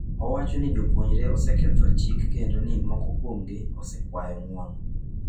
Owacho ni jopuonjre oseketho chik kendo ni moko kuomgi osekwayo ng’uono.